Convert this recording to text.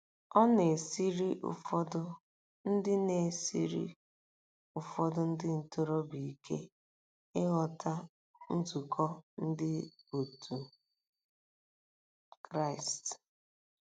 Ọ na-esiri ụfọdụ ndị na-esiri ụfọdụ ndị ntorobịa ike ịghọta nzukọ Ndị òtù Kristi.